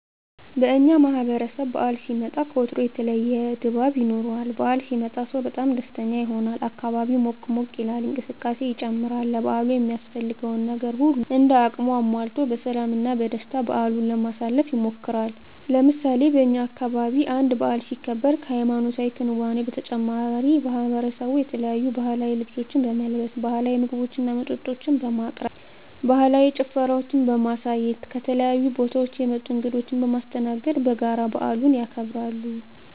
በእኛ ማህበረሰብ በዓል ሲመጣ ከወትሮው ለየት ያለ ድባብ ይኖረዋል። በዓል ሲመጣ ሰው በጣም ደስተኛ ይሆናል፣ አካባቢው ሞቅ ሞቅ ይላል፣ እንቅስቃሴ ይጨምራል፣ ለበዓሉ የሚያስፈልገውን ነገር ሁሉም እንደ አቅሙ አሟልቶ በሰላም እና በደስታ በዓሉን ለማሳለፍ ይሞክራል። ለምሳሌ በእኛ አካባቢ አንድ በዓል ሲከበር ከሀይማኖታዊ ክንዋኔው በተጨማሪ ማሕበረሰቡ የተለያዩ ባህላዊ ልብሶችን በመልበስ፣ ባህላዊ ምግቦችና መጠጦችን በማቅረብ፣ ባህላዊ ጭፈራዎችን በማሳየት፣ ከተለያዩ ቦታወች የመጡ እንግዶችን በማስተናገድ በጋራ በዓሉን ያከብራሉ።